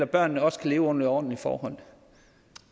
børnene også kan leve under ordentlige forhold